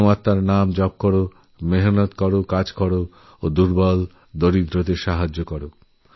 পরমাত্মার নাম জপ কর শ্রমকার্যে মগ্ন থাকোএবং বিপদগ্রস্তকে সাহায্য কর